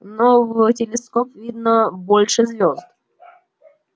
но в телескоп видно больше звёзд